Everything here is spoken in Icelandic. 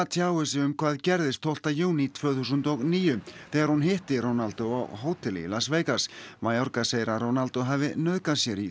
tjáir sig um hvað gerðist tólfta júní tvö þúsund og níu þegar hún hitti Ronaldo á hóteli í Las Vegas mayorga segir að Ronaldo hafi nauðgað sér í